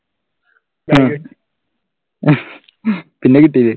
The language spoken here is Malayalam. അഹ് അഹ് പിന്നെ കിട്ടീലെ?